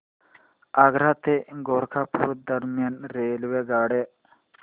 आग्रा ते गोरखपुर दरम्यान रेल्वेगाड्या